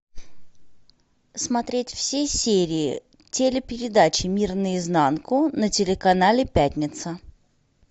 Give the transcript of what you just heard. смотреть все серии телепередачи мир наизнанку на телеканале пятница